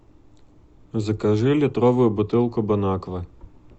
закажи литровую бутылку бон аква